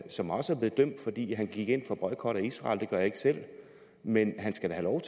som også er blevet dømt fordi han gik ind for boykot af israel det gør jeg ikke selv men han skal da have